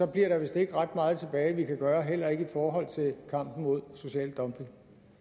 bliver der vist ikke ret meget tilbage vi kan gøre heller ikke i forhold til kampen mod social dumping